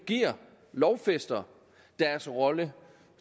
lovfæster deres rolle